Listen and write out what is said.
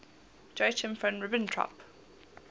joachim von ribbentrop